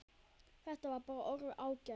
Þetta var bara orðið ágætt.